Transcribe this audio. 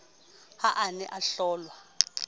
ha a ne a hlolwa